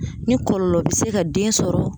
Ni kɔlɔlɔ bi se ka den sɔrɔ.